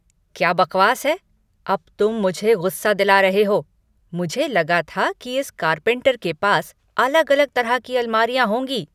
क्या बकवास है? अब तुम मुझे गुस्सा दिला रहे हो! मुझे लगा था कि इस कारपेंटर के पास अलग अलग तरह की अलमारियां होंगी।